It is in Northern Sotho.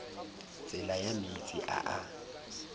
tsela ya meetse a a